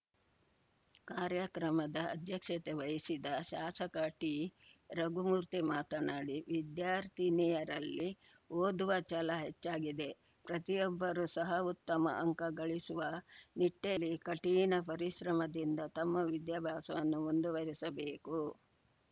ಕಾರ್ಯಕ್ರಮದ ಅಧ್ಯಕ್ಷತೆ ವಹಿಸಿದ್ದ ಶಾಸಕ ಟಿರಘುಮೂರ್ತಿ ಮಾತನಾಡಿ ವಿದ್ಯಾರ್ಥಿನಿಯರಲ್ಲಿ ಓದುವ ಛಲ ಹೆಚ್ಚಾಗಿದೆ ಪ್ರತಿಯೊಬ್ಬರೂ ಸಹ ಉತ್ತಮ ಅಂಕ ಗಳಿಸುವ ನಿಟ್ಟೆಲ್ಲಿ ಕಠಿಣ ಪರಿಶ್ರಮದಿಂದ ತಮ್ಮ ವಿದ್ಯಾಭ್ಯಾಸವನ್ನು ಮುಂದುವರಿಸಬೇಕು